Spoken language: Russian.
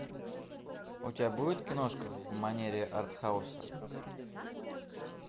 у тебя будет киношка в манере арт хауса